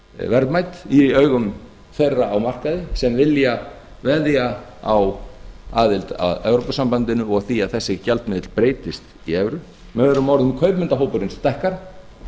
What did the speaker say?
verðmæt í augum þeirra á markaði sem vilja veðja á aðild að evrópusambandinu og því að þessi gjaldmiðill breytist í evru með öðrum orðum að kaupendahópurinn stækkar